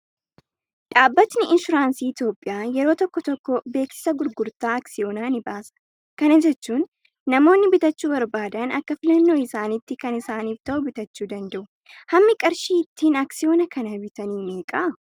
Dhaabbatni insuraansii Itoophiyaa yeroo tokko tokko beeksisa gurgurtaa aksiyoonaa ni baasa. Kana jechuun namoonni bitachuu barbaadan akka filannoo isaaniitti kan isaaniif ta'u bitachuu danda'u. Hammi qarshii ittiin aksiyoona kana bitanii meeqa?